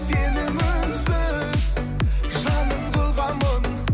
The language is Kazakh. сенің үнсіз жаныңды ұғамын